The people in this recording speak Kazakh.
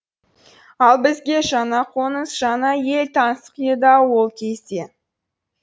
ал бізге жаңа қоныс жаңа ел таңсық еді ау ол кезде